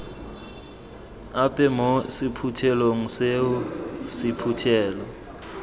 ape mo sephuthelong seo sephuthelo